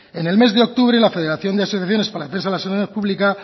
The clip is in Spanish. en el mes de octubre la federación de asociaciones para la defensa de la sanidad pública